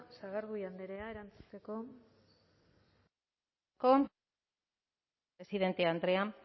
sagardui andrea erantzuteko eskerrik asko presidente andrea